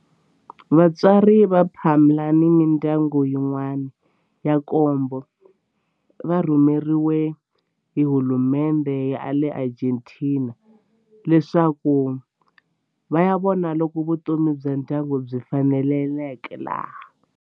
Vatswari va Palma ni mindyangu yin'wana ya nkombo va rhumeriwe hi hulumendhe ya le Argentina leswaku va ya vona loko vutomi bya ndyangu byi faneleka laha.